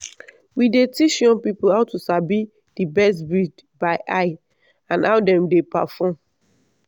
we dey teach young people how to sabi the best breed by eye and how dem dey perform.